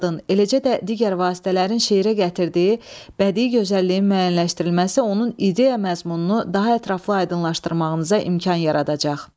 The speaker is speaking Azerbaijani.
Təzadın, eləcə də digər vasitələrin şeirə gətirdiyi bədii gözəlliyin müəyyənləşdirilməsi onun ideya məzmununu daha ətraflı aydınlaşdırmağınıza imkan yaradacaq.